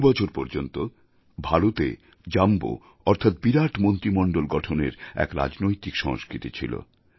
বহু বছর পর্যন্ত ভারতে জাম্বো অর্থাৎ বিরাট মন্ত্রীমণ্ডল গঠনের এক রাজনৈতিক সংস্কৃতি ছিল